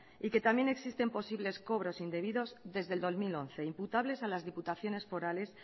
y que también existen posibles cobros indebidos desde el dos mil once imputables a las diputaciones forales